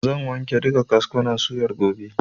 Zan wanke duka kaskunan suyar gobe.